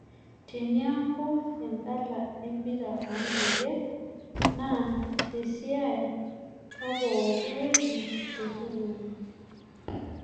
Teniaku endala empira oonkejek na tesiai oo pookiwueji te sukuul